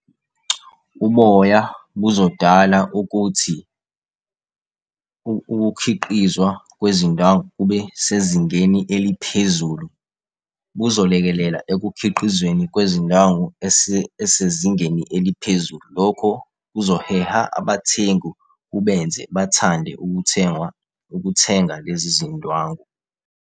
Uboya buzodala ukuthi ukukhiqizwa kwezindwangu kube sezingeni eliphezulu. Kuzolekelela ekukhiqizweni kwezindwangu esezingeni eliphezulu. Lokho kuzoheha abathengi, kubenze bathande ukuthengwa, ukuthenga lezi zindwangu.